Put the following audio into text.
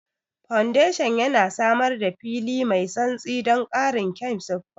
Foundation yana samar da fili mai santsi don ƙarin kyan siffa.